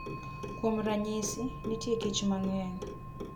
Kuom ranyisi, nitie kich mang'eny.